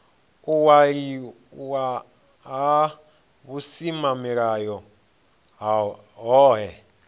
u waliwa ha vhusimamilayo hohe